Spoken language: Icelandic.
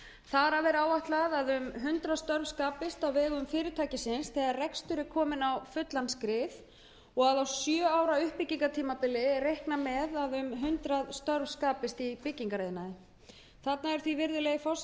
þar af er áætlað að um hundrað störf skapist á vegum fyrirtækisins þegar rekstur er kominn á fullan skrið og á sjö ára uppbyggingartímabili er reiknað með að um hundrað störf skapist í byggingariðnaði þarna er því um